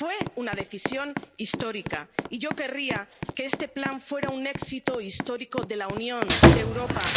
Fue una decisión histórica y yo querría que este Plan fuera un éxito histórico de la Unión, de Europa.